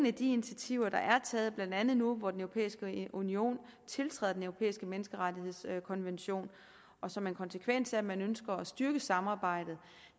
af de initiativer der er taget blandt andet nu hvor den europæiske union tiltræder den europæiske menneskerettighedskonvention og som en konsekvens af at man ønsker at styrke samarbejdet